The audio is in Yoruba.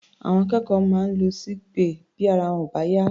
Àwọn akẹ́kọ̀ọ́ máa ń lọ sí sick bay tí ara wọn ò bá yá.